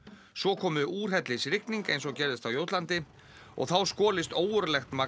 svo komi úrhellisrigning eins og gerðist á Jótlandi og þá skolist ógurlegt magn